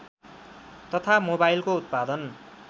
तथा मोबाइलको उत्पादन